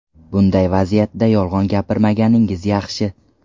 Bunday vaziyatda yolg‘on gapirmaganingiz yaxshi.